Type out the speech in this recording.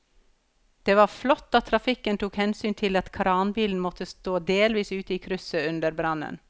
Det var flott at trafikken tok hensyn til at kranbilen måtte stå delvis ute i krysset under brannen.